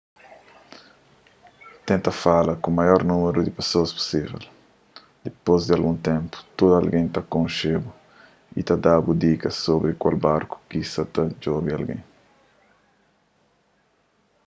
tenta fala ku maior númeru di pesoas pusível dipôs di algun ténpu tudu algen ta konxe-bu y ta da-bu dikas sobri kal barku ki sa ta djobe algen